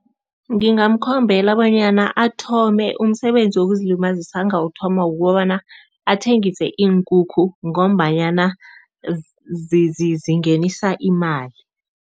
Ngingamkhombela bonyana athome umsebenzi wokuzilibazisa. Angawuthoma kukobana athengise iinkukhu ngombanyana zingenisa imali.